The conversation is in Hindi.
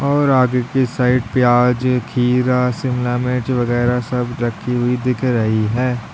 और आगे की साइड प्याज खीरा शिमला मिर्च वगैरा सब राखी हुई दिख रही है।